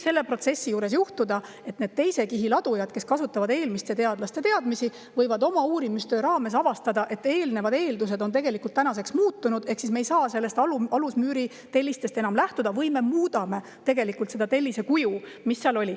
Selles protsessis võib juhtuda, et teise kihi ladujad, kes kasutavad eelmiste teadlaste teadmisi, avastavad oma uurimistöö käigus, et eelnevad eeldused on tänaseks muutunud ehk selle alusmüüri tellistest ei saa enam lähtuda, ja võib-olla muudetakse tellise kuju.